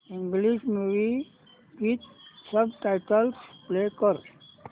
English movie with subtitles play कर